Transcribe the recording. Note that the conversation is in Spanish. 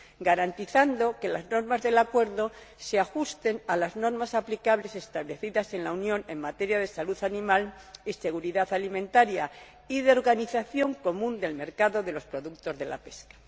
garantizando que las normas del acuerdo se ajusten a las normas aplicables establecidas en la Unión en materia de salud animal y seguridad alimentaria y de organización común del mercado de los productos de la pesca.